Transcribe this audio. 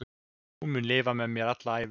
Hún mun lifa með mér alla ævi.